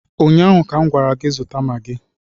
ụnyaahụ ka m gwara gị zụta magị